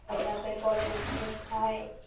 অভাবে গলগণ্ড রোগ হয়।